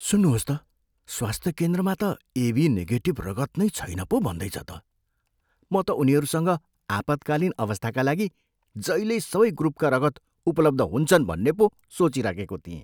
सुन्नुहोस् त, स्वास्थ्य केन्द्रमा त एबी निगेटिभ रगत नै छैन पो भन्दैछ त। म त उनीहरूसँग आपत्कालीन अवस्थाका लागि जहिल्यै सबै ग्रुपका रगत उपलब्ध हुन्छन् भन्ने पो सोचिराखेको थिएँ।